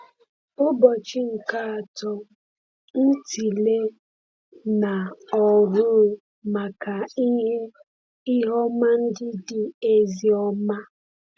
Ụbọchị nke Atọ – Ntịle na Ọhụụ Maka Ihe Ihe Ọma Ndị Dị Ezi Ọma